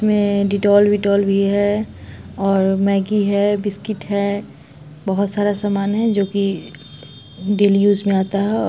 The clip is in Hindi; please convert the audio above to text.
इसमें डिटॉल विटोल भी है और मग्गी है बिस्किट है बोहोत सारा सामान है जो की डेली यूज में आता है और --